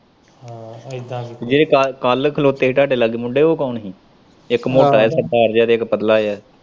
ਜਿਹੜੇ ਕੱਲ ਖਲੋਤੇ ਸੀ ਤੁਹਾਡੇ ਲਾਗੇ ਮੁੰਡੇ ਉਹ ਕੌਣ ਸੀ ਇੱਕ ਮੋਟਾ ਜਿਹਾ ਸਰਦਾਰ ਤੇ ਪਤਲਾ ਜਿਹਾ।